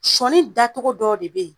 Sɔɔni dacogo dɔw de be ye